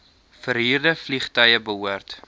verhuurde vliegtuie behoort